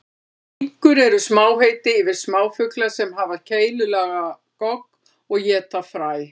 Finkur eru samheiti yfir smáfugla sem hafa keilulaga gogg og éta fræ.